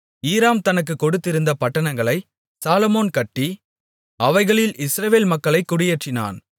ஈராம் தனக்குக் கொடுத்திருந்த பட்டணங்களை சாலொமோன் கட்டி அவைகளில் இஸ்ரவேல் மக்களைக் குடியேற்றினான்